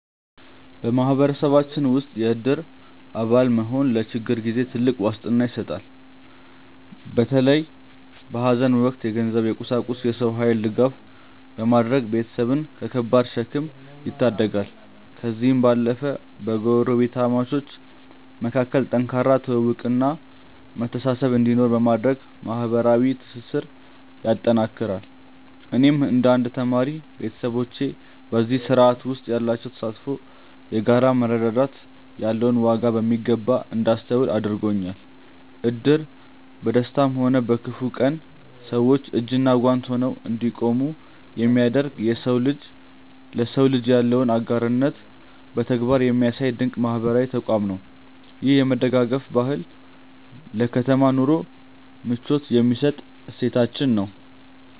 በማህበረሰባችን ውስጥ የእድር አባል መሆን ለችግር ጊዜ ትልቅ ዋስትና ይሰጣል። በተለይ በሐዘን ወቅት የገንዘብ፣ የቁሳቁስና የሰው ኃይል ድጋፍ በማድረግ ቤተሰብን ከከባድ ሸክም ይታደጋል። ከዚህም ባለፈ በጎረቤታሞች መካከል ጠንካራ ትውውቅና መተሳሰብ እንዲኖር በማድረግ ማህበራዊ ትስስርን ያጠናክራል። እኔም እንደ አንድ ተማሪ፣ ቤተሰቦቼ በዚህ ስርዓት ውስጥ ያላቸው ተሳትፎ የጋራ መረዳዳት ያለውን ዋጋ በሚገባ እንዳስተውል አድርጎኛል። እድር በደስታም ሆነ በክፉ ቀን ሰዎች እጅና ጓንት ሆነው እንዲቆሙ የሚያደርግ፣ የሰው ልጅ ለሰው ልጅ ያለውን አጋርነት በተግባር የሚያሳይ ድንቅ ማህበራዊ ተቋም ነው። ይህ የመደጋገፍ ባህል ለከተማ ኑሮ ምቾት የሚሰጥ እሴታችን ነው።